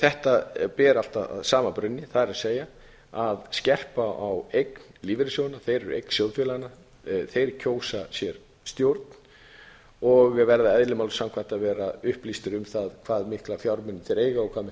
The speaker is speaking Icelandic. þetta ber allt að sama brunni það er að skerpa á eign lífeyrissjóðanna þeir eru eign sjóðfélaganna þeir kjósa sér stjórn og verða eðli máls samkvæmt að vera upplýstir um það hve mikla fjármuni þeir eiga og hve miklar